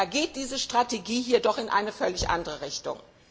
Da geht diese Strategie hier doch in eine völlig andere Richtung.